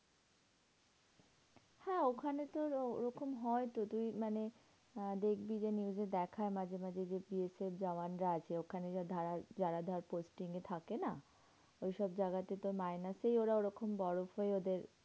হ্যাঁ ওখানে তোর ও ওরকম হয় তো। তুই মানে আহ দেখবি যে, news এ দেখায় মাঝে মাঝে যে, POK এর জওয়ান রা আছে। ওখানে ধর posting এ থাকে না? ওইসব জায়গাতেতো minus এই ওরা ঐরকম বরফে হয়েই ওদের